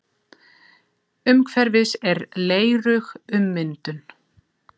Umhverfis er leirug ummyndun.